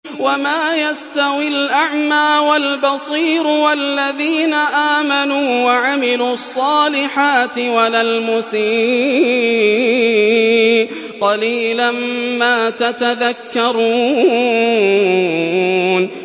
وَمَا يَسْتَوِي الْأَعْمَىٰ وَالْبَصِيرُ وَالَّذِينَ آمَنُوا وَعَمِلُوا الصَّالِحَاتِ وَلَا الْمُسِيءُ ۚ قَلِيلًا مَّا تَتَذَكَّرُونَ